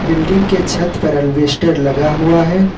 Building के छत पर अल्वेस्टर लगा हुआ है।